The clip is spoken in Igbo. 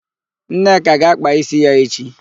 Nneka ga-ákpà ísí ya echi.